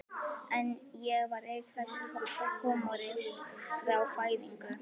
En ég var auk þess húmoristi frá fæðingu.